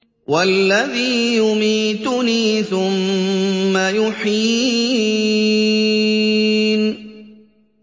وَالَّذِي يُمِيتُنِي ثُمَّ يُحْيِينِ